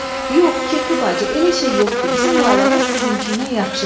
Yox, kirpi bacı, elə şey yoxdur, bizim laylamız sizinkindən yaxşıdır.